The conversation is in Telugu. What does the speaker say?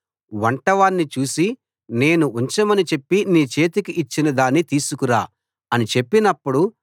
వంటవాణ్ణి చూసి నేను ఉంచమని చెప్పి నీ చేతికి ఇచ్చిన దాన్ని తీసుకురా అని చెప్పినప్పుడు